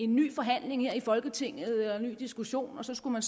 ny forhandling her i folketinget en ny diskussion og så skulle man